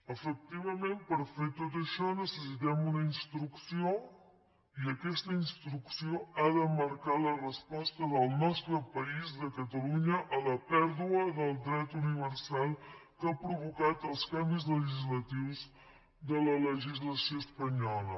efectivament per fer tot això necessitem una instrucció i aquesta instrucció ha de marcar la resposta del nostre país de catalunya a la pèrdua del dret universal que han provocat els canvis legislatius de la legislació espanyola